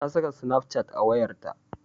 Ta saka snapchat a wayarta.